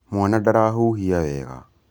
Mwana ndarahuhia wega